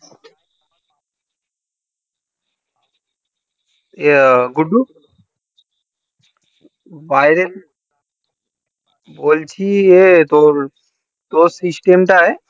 গুড্ডু বাইরে বলছি এ তোর তোর system টাই